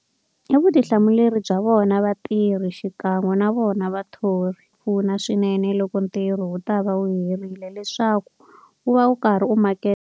I vutihlamuleri bya vona vatirhi xikan'we na vona vathori pfuna swinene loko ntirho wu ta va wu herile leswaku u va u karhi u .